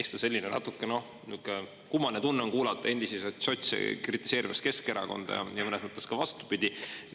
Eks ta selline natuke, noh, niuke kummaline tunne on kuulata endiseid sotse kritiseerimas Keskerakonda ja mõnes mõttes ka vastupidi.